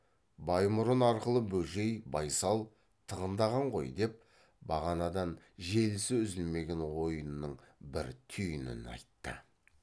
баймұрын арқылы бөжей байсал тығындаған ғой деп бағанадан желісі үзілмеген ойының бір түйінін айтты